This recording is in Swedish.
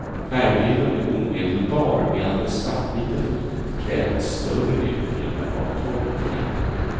Färgbilden blir omedelbar medan det svartvita fotot kräver ett större utrymme av tolkning.